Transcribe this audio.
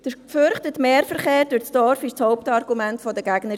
Der befürchtete Mehrverkehr durch das Dorf war das Hauptargument der Gegner.